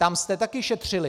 Tam jste také šetřili.